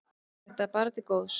Þetta er bara til góðs.